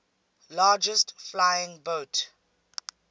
largest flying boat